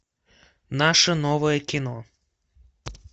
наше новое кино